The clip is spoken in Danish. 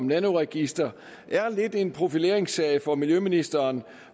nanoregister lidt er en profileringssag for miljøministeren